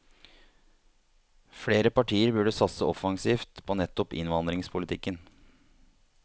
Flere partier burde satse offensivt på nettopp innvandringspolitikken.